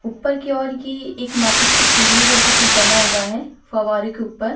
ऊपर की ओर ये एक माचिस की तीलियों जैसा कुछ बना हुआ है फव्वारे के ऊपर --